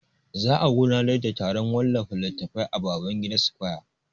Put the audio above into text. Za'a gudanar da taron wallafa littatafai a Babangida square.